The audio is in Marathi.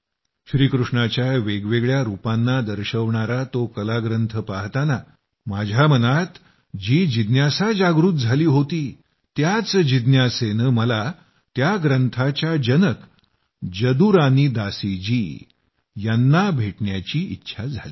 श्रीकृष्णाच्या वेगवेगळ्या रूपांना दर्शवणारा तो कलाग्रंथ पाहताना माझ्या मनात जी जिज्ञासा जागृत झाली होती त्याच जिज्ञासेमुळे मला त्या ग्रंथाचा जनक जदुरानी दासी जी यांना भेटण्याची इच्छा होती